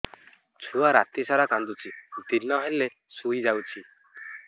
ଛୁଆ ରାତି ସାରା କାନ୍ଦୁଚି ଦିନ ହେଲେ ଶୁଇଯାଉଛି